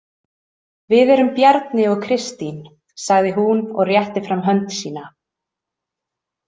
Við erum Bjarni og Kristín, sagði hún og rétti fram hönd sína.